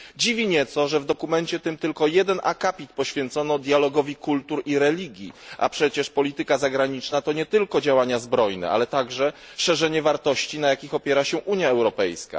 Dziwi nieco, że w dokumencie tym tylko jeden akapit poświęcono dialogowi kultur i religii, a przecież polityka zagraniczna to nie tylko działania zbrojne, ale także szerzenie wartości, na jakich opiera się Unia Europejska.